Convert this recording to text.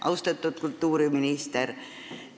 Austatud kultuuriminister!